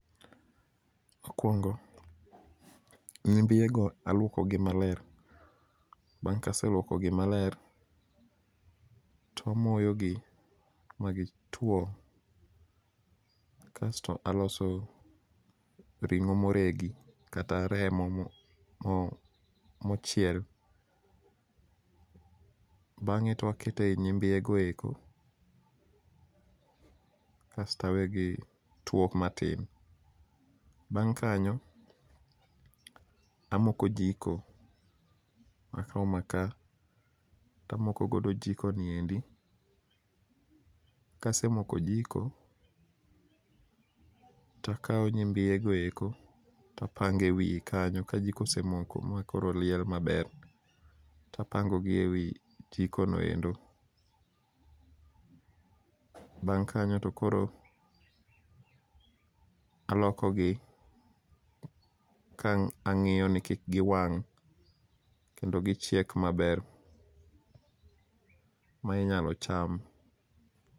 Mokuongo nyimbiego aluokogi maler, bang' kaseluokogi maler to amoyogi magituo. Kasto aloso rimo moregi kata remo mochiel. Bang'e to ang'ete e nyimbiego, kasto awe gituo matin. Bang' kanyo amoko jiko, akao maka tamoko godo jiko niendi. Kasemoko jiko, takao nyimbiego eko tapango e wie kanyo ka jiko osemoko makoro liel maber. To apangogi e wi jiko noendo. Bang' kanyo to koro alokogi ka ang'iyoni kik giwang' kendo gichiek maber mainyalo cham.